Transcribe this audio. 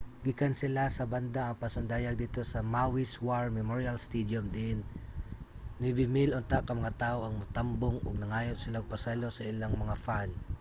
gikansela sa banda ang pasundayag didto sa maui's war memorial stadium diin 9000 unta ka mga tawo ang motambong ug nangayo sila og pasaylo sa ilang mga fan